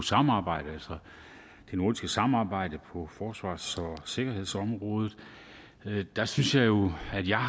samarbejdet altså det nordiske samarbejde på forsvars og sikkerhedsområdet der synes jeg jo at jeg